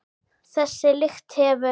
Þessa lykt hefur